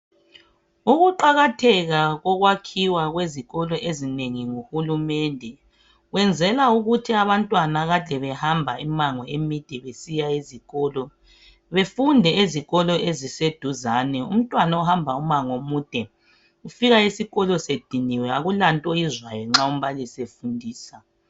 Ukuqakatheka kokwakhiwa kwezikolo ezinengi nguhulumede wenzela ukuthi abantwana akade behamba imango emide besiya ezikolo befunde ezikolo eziseduzane umntwana ohamba umango omude ufika esikolo sediniwe akulanto oyizwayo nxa umbalisi efundisa.